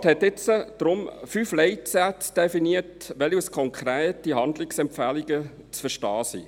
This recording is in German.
Der Regierungsrat hat deshalb nun fünf Leitsätze definiert, die als konkrete Handlungsempfehlungen zu verstehen sind.